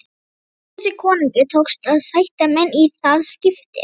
Bakkusi konungi tókst að sætta menn í það skiptið.